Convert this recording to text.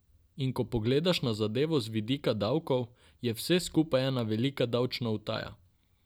In ko pogledaš na zadevo z vidika davkov, je vse skupaj ena velika davčna utaja.